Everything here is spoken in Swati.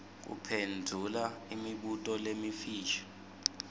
kuphendvula imibuto lemifisha